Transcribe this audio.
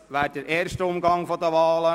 Das wäre der erste Umgang der Wahlen.